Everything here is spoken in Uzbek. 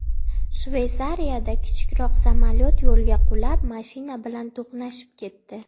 Shveysariyada kichikroq samolyot yo‘lga qulab, mashina bilan to‘qnashib ketdi.